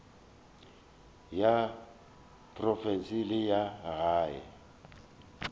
ya profense le ya gae